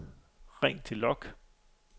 ring til log